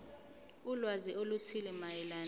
ulwazi oluthile mayelana